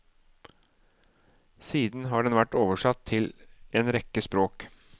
Siden har den vært oversatt til en rekke språk.